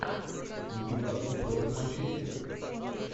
ньюкасл против манчестера